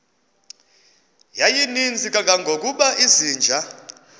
yayininzi kangangokuba izinja